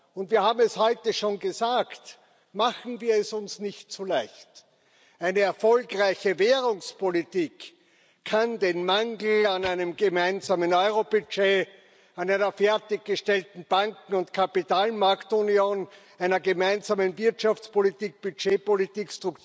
Und wir haben es heute schon gesagt Machen wir es uns nicht zu leicht! Eine erfolgreiche Währungspolitik kann den Mangel an einem gemeinsamen Euro Budget, an einer fertiggestellten Banken und Kapitalmarkt Union, einer gemeinsamen Wirtschaftspolitik, Budgetpolitik,